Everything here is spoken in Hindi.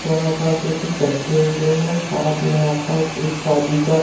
यहां पास कुछ लोग बैठे हुए हैं साथ में यहां पास एक शादी का--